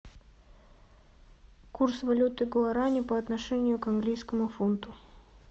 курс валюты гуарани по отношению к английскому фунту